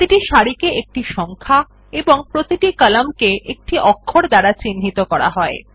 প্রতিটি সারি একটি সংখ্যা এবং প্রতিটি কলাম একটি অক্ষর দ্বারা চিহ্নিত করা হয়